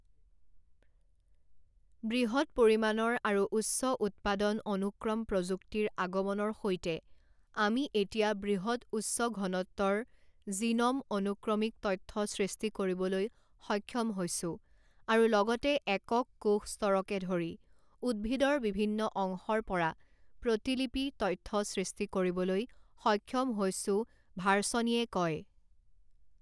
বৃহৎ পৰিমাণৰ আৰু উচ্চ উৎপাদন অনুক্ৰম প্ৰযুক্তিৰ আগমনৰ সৈতে আমি এতিয়া বৃহৎ উচ্চ-ঘনত্বৰ জিন'ম অনুক্ৰমিক তথ্য সৃষ্টি কৰিবলৈ সক্ষম হৈছো আৰু লগতে একক কোষ স্তৰকে ধৰি উদ্ভিদৰ বিভিন্ন অংশৰ পৰা প্ৰতিলিপি তথ্য সৃষ্টি কৰিবলৈ সক্ষম হৈছো ভাৰ্চনিয়ে কয়।